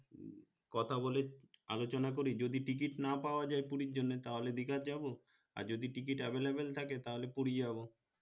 কথা বলে আলোচনা করে যদি ticket না পাওয়া যায় পুরির জন্যে তাহলে দীঘা যাবো আর যদি ticket available থাকে তাহলে পুরি যাবো